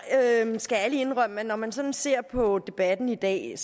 jeg skal ærligt indrømme at når man sådan ser på debatten i dag